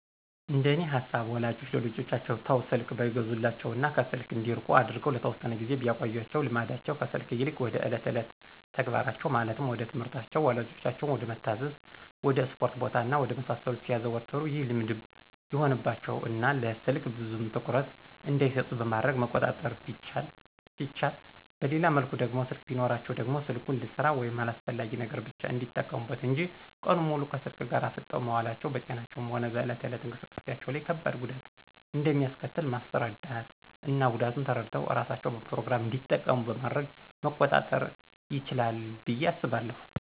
እንደኔ ሃሳብ ወላጆች ለልጆቻቸው ተው ስልክ ባይገዙላቸው እና ከስልክ እንዲርቁ አርገው ለተወሰነ ጊዜ ቢያቆዪአቸው ልምዳቸው ከስልክ ይልቅ ወደ እለት እለት ተግባራቸው ማለትም ወደትምህርታቸው፣ ወላጆቻቸውን ወደመታዛዝ፣ ወድ እስፖርት ቦታ እና ወደ መሳሰሉት ሲያዘወትሩ ይህ ልምድ ይሆንባቸው እና ለስልክ ብዙም ትኩረት እንዳይሰጡት በማድረግ መቆጣጠር ሲቻል በሌላ መልኩ ደግሞ ስልክ ቢኖራቸውም ደግሞ ስልኩን ልስራ ወይም ለአስፈላጊ ነገር ብቻ እንዲጠቀሙበት እንጅ ቀኑን ሙሉ ከስልክ ጋር አፍጠው መዋላቸው በጤናቸውም ሆነ በእለት እለት እንቅስቃሴዎቻቸው ላይ ከባድ ጉዳት እንደሚአስከትል ማስራዳት እና ጉዳቱን ተረድተው እራሳቸው በፕሮግራም እንዲጠቀሙ በማድረግ መቆጣጠር ይችላል ብዬ አስባለሁ።